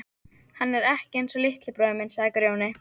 Hann er ekki einsog litli bróðir minn, sagði Grjóni.